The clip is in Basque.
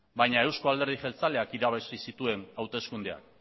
baina euzko alderdi jeltzaleak irabazi zituen hauteskundeak